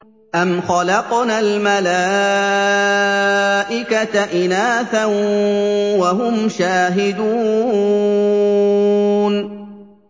أَمْ خَلَقْنَا الْمَلَائِكَةَ إِنَاثًا وَهُمْ شَاهِدُونَ